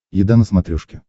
еда на смотрешке